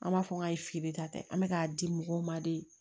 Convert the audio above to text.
An b'a fɔ k'a ye feere ta tɛ an bɛ k'a di mɔgɔw ma de